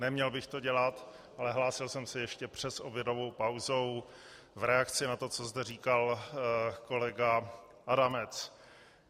Neměl bych to dělat, ale hlásil jsem se ještě před obědovou pauzou v reakci na to, co zde říkal kolega Adamec.